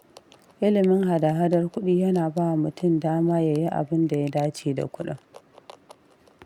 ilimin hada-hadar kuɗi yana bawa mutum dama ya yi abinda ya dace da kuɗin